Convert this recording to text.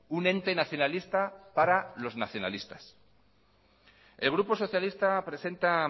un ente nacionalista para los nacionalistas el grupo socialista presenta